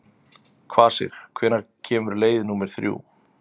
Kvasir, hvenær kemur leið númer þrjú?